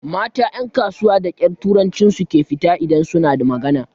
Mata ƴan kasuwa da ƙyar turancin su ke fita idan su na magana.